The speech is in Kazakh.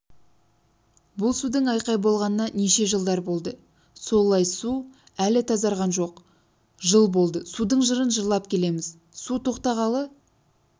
бұл судың айқай болғанына неше жылдар болды сол лай су әлі тазарған жоқ жыл болды судың жырын жырлап келеміз су тоқтағалы